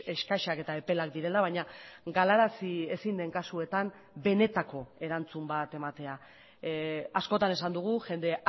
eskasak eta epelak direla baina galarazi ezin den kasuetan benetako erantzun bat ematea askotan esan dugu jende